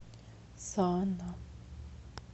сана